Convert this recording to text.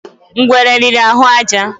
Ngwere riri ahụ àjà